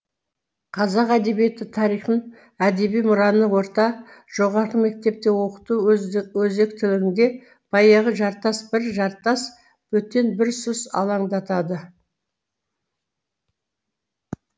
қазақ әдебиеті тарихын әдеби мұраны орта жоғары мектепте оқыту өзектілігінде баяғы жартас бір жартас бөтен бір сұс алаңдатады